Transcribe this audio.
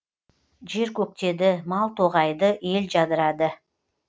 жер көктеді мал тоғайды ел жадырады